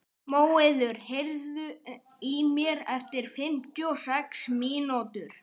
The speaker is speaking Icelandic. Móeiður, heyrðu í mér eftir fimmtíu og sex mínútur.